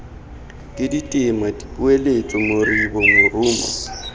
ke ditema dipoeletso moribo morumo